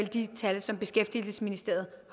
det tal som beskæftigelsesministeriet